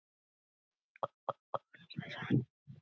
Heiðrós, stilltu niðurteljara á fimmtíu og eina mínútur.